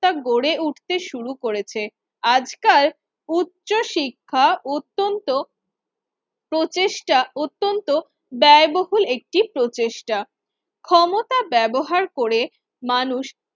ক্তা গড়ে উঠতে শুরু করেছে। আজকার উচ্চশিক্ষা অত্যন্ত প্রচেষ্টা অত্যন্ত ব্যয়বহুল একটি প্রচেষ্টা। ক্ষমতা ব্যবহার করে মানুষ